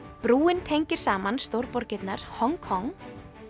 brúin tengir saman Hong Kong